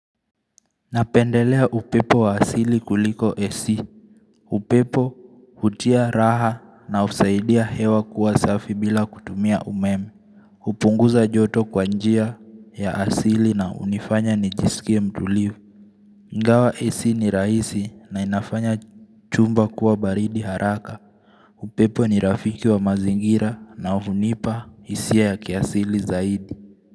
Napendelea upepo wa asili kuliko AC upepo hutia raha na husaidia hewa kuwa safi bila kutumia umeme, hupunguza joto kwa njia ya asili na hunifanya nijisikie mtulivu, ingawa AC ni rahisi na inafanya chumba kuwa baridi haraka, upepo ni rafiki wa mazingira na hunipa hisia ya kiasili zaidi.